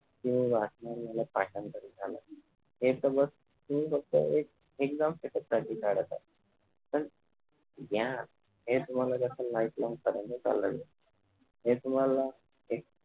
कि वाचन झाल पाठांतर झालं हे तर बस तुम्ही फक्त एक exam साठीच काढत आहे पण ग्यान हे तुम्हाला कस lifelong पर्यंत चालणार आहे हे तुम्हाला